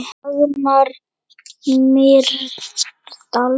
Dagmar Mýrdal.